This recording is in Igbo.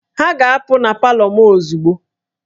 Ha ga-apụ na palọ m ozugbo!